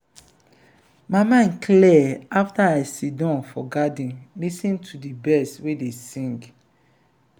my mind clear afta i siddon for garden lis ten to birds wey dey sing.